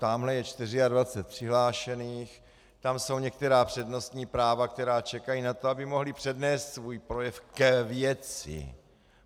Tamhle je 24 přihlášených, tam jsou některá přednostní práva, která čekají na to, aby mohli přednést svůj projev k věci.